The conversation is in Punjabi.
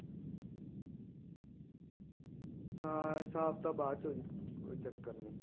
ਹਾਂ ਸਾਫ ਤਾਂ ਬਾਅਦ ਚ ਹੋ ਜਾਊਗਾ ਕੋਈ ਚੱਕਰ ਨਹੀਂ